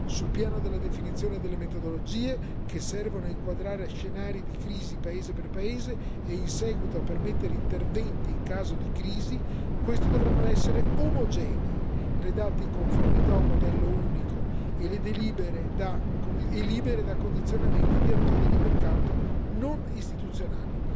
Sul piano della definizione delle metodologie, che servono a inquadrare scenari di crisi paese per paese e in seguito a permettere interventi in caso di crisi, queste dovranno essere omogenee, redatte in conformità a un modello unico e libere da condizionamenti di attori di mercato non istituzionali.